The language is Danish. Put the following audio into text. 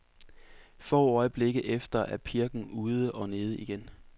Få øjeblikke efter er pirken ude og nede igen.